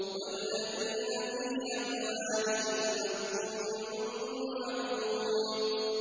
وَالَّذِينَ فِي أَمْوَالِهِمْ حَقٌّ مَّعْلُومٌ